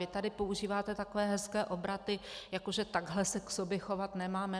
Vy tady používáte takové hezké obraty, že takhle se k sobě chovat nemáme.